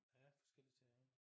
Ja forskellige sager